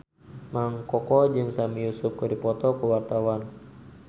Mang Koko jeung Sami Yusuf keur dipoto ku wartawan